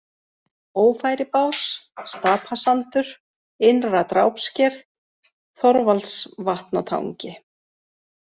Ófæribás, Stapasandur, Innra-Drápsker, Þorvaldsvatnatangi